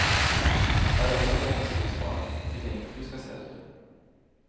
Är detta ett långsiktigt sparande tycker jag inte du ska sälja.